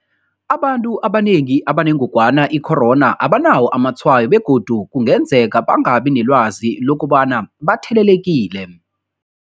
Abantu abanengi abanengogwana i-corona abanawo amatshwayo begodu kungenzeka bangabi nelwazi lokobana bathelelekile.